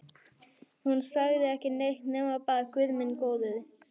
Hún sagði ekki neitt nema bara Guð minn góður.